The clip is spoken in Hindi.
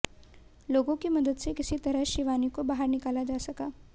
लोगों की मदद से किसी तरह शिवानी को बाहर निकाला जा सका